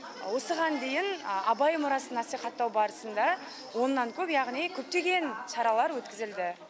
осыған дейін абай мұрасын насихаттау барысында оннан көп яғни көптеген шаралар өткізілді